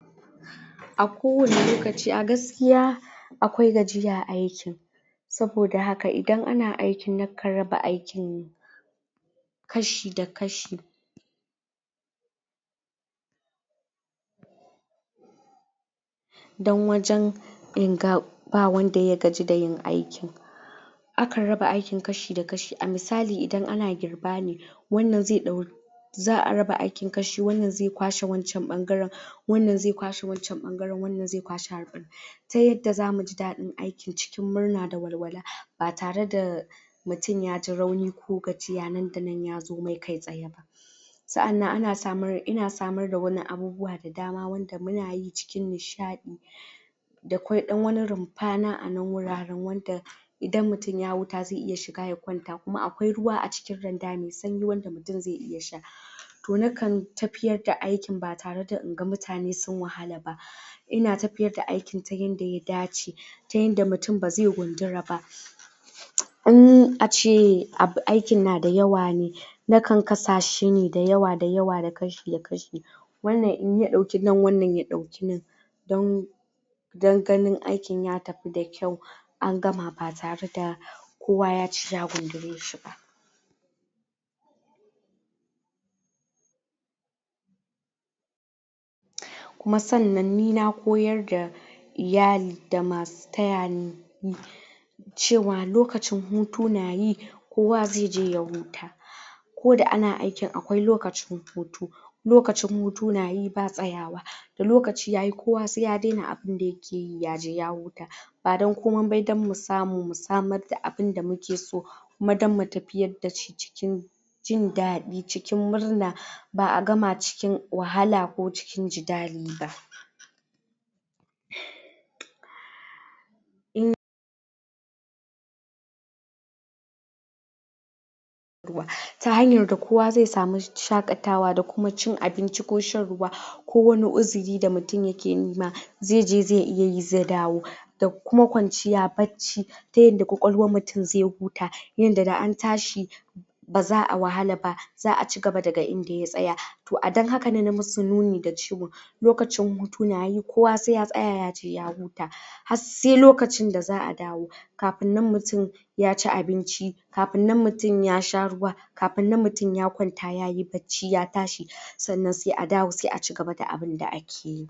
a kowani lokaci a gaskiya akwai gajiya aikin saboda haka idan ana aiiki na kan raba aikin ksahi da kashi dan wajen in ga ba wanda ya gaji da yin aikin akan raba aikin kashi da kashi a misali in ana girba ne wannan zai dau za'a raba aikin kashi wannan zai kwashe wancan bangaren wannan zai kwashe wancan bangaren wannan zai kwashe ta yadda zamu ji dadin aiki ta murana da walwala ba tare da mutum yaji raunida gajiya ya zo mai nan da nan ya za mai kai tsaye sa'annan in samar da wani abubuwa da dama wanda munayi cikin nishadi da kwai dan wani rumfani a nan wuraren wanda idan mutum ya hutu zai iya shiga ya kwanta kuma akwai ruwa a cikin randa mai sanyi wanda mutum zai sha toh na kan tafiyar da aikin ba tare da inga mutane sun wahala ba ina tafiyar da aikin ta yanda ya dace ta yanda mutum bazai gundura ba in ace abu aikin na dayawa ne na kan sa shine dayawa dayawa da kashi da kashi wannan in ya dauki nan wannan ya dauki nan don dan ganin aikin ya tafi da kyau an gama ba tare da kowa ya ci ya gundura shi ba kuma sannan ni na koyar da iyali da masu taya ni yi cewa lokacin hutu na yi kowa zai je ya huta koda ana aikin akwai lokacin hutu lokacin hutu na yi ba tsaya wa da lokaci yayi koya sai ya daina abun da yakeyi yaje ya huta ba dan komai ba da mu samu mu samr da abun da muke so kuma dan mutafiya dashi cikin jndadi cikin murna ba'a gama cikin wahala ko cikin jidali ba um in ta hanyar da kowa zai samu shakatawa da kuma cin abin ci ko shan ruwa ko wani uzuri da mutum yake nima zai je zai iya yi ze dawo da kuma kwanciya bacci ta yadda kwakwaluwan mutum zai huta yanda da an tashi baza'a wahala ba za'a cigaba daga inda ya tsaya toh a dan haka na musu nuni da cewa lokacin hutu na yi kowa sai ya tsaya yaje ya huta har sai lokacin da za'a dawo kafun nan mutum yaci abinci kafun nan mutum ya sha ruwa kafun nan mutum ya kwanta yayi bacci ya tashi sannan sai a dawo sai a cigaba da abun da akeyi